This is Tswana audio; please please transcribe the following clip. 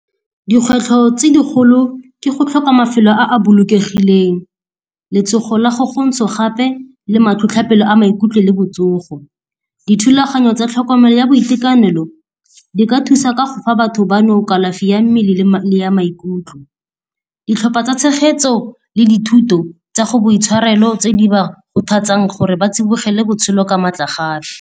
Dikgwetlho tse dikgolo ke go tlhoka mafelo a a bolokegileng, letsogo la go gontsha gape le matlhotlhotlhapelo a maikutlo le botsogo. Dithulaganyo tsa tlhokomelo ya boitekanelo di ka thusa ka go fa batho ba no kalafi ya mmele le ya maikutlo. Ditlhopha tsa tshegetso le dithuto tsa go boitshwarelo tse di ba kgothatsang gore ba tsibogela botshelo ka matlagafi.